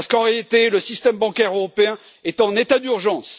Parce qu'en réalité le système bancaire européen est en état d'urgence.